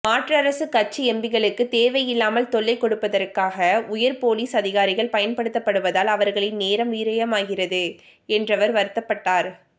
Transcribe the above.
மாற்றரசுக்கட்சி எம்பிகளுக்குத் தேவையில்லாமல் தொல்லை கொடுப்பதற்காக உயர் போலீஸ் அதிகாரிகள் பயன்படுத்தப்படுவதால் அவர்களின் நேரம் விரயமாகிறது என்றவர் வருத்தப்பட்டார்